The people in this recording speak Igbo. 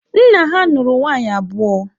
Nna ha nụrụ nwaanyị abụọ.